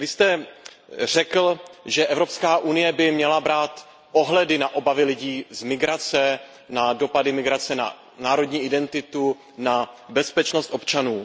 Vy jste řekl, že Evropská unie by měla brát ohledy na obavy lidí z migrace, na dopady migrace na národní identitu, na bezpečnost občanů.